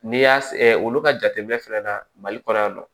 N'i y'a olu ka jateminɛ fɛnɛ na mali kɔnɔ yan nɔ